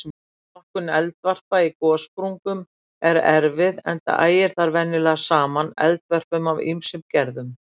Flokkun eldvarpa á gossprungum er erfið enda ægir þar venjulega saman eldvörpum af ýmsum gerðum.